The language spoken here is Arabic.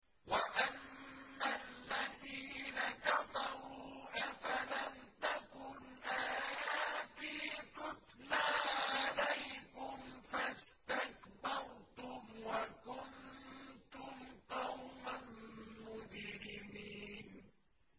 وَأَمَّا الَّذِينَ كَفَرُوا أَفَلَمْ تَكُنْ آيَاتِي تُتْلَىٰ عَلَيْكُمْ فَاسْتَكْبَرْتُمْ وَكُنتُمْ قَوْمًا مُّجْرِمِينَ